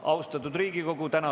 Austatud Riigikogu!